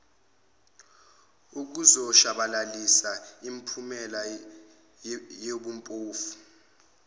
ukuzoshabalalisa imiphumela yobuphofu